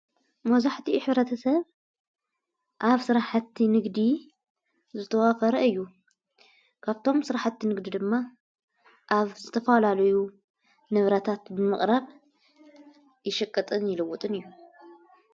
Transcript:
መብዛሕቲኡ ኅብረተ ሰብ ኣብ ሠራሕቲ ንግዲ ዘተዋፈረ እዩ ካብቶም ሥራሕቲ ንግዱ ድማ ኣብ ዝተፈላልዩ ነብረታት ምቕረብ ይሽቅጥን ይልውጥን እዩ።